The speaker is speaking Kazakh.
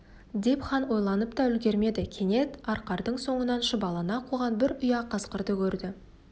деп хан ойланып та үлгермеді кенет арқардың соңынан шұбалана қуған бір ұя қасқырды көрді